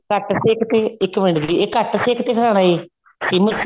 ਘੱਟ ਸੇਕ ਤੇ ਇੱਕ ਮਿੰਟ ਜੀ ਘੱਟ ਸੇਕ ਤੇ ਹਿਲਾਉਣ ਹੈ ਸਿਮ